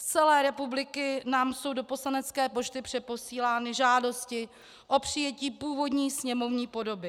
Z celé republiky nám jsou do poslanecké pošty přeposílány žádosti o přijetí původní sněmovní podoby.